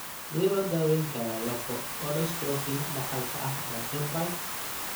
Sidee loo daweyn karaa lafo-odystrophy dhaxalka ah ee Albright?